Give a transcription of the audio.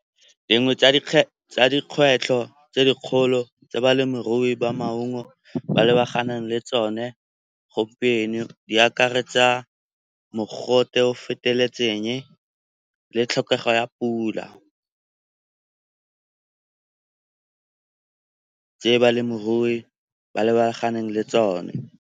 Dingwe tsa dikgwetlho tse dikgolo tse balemirui ba maungo ba lebaganeng le tsone gompieno di akaretsa mogote o feteletseng le tlhokego ya pula tse balemirui ba lebaganeng le tsone.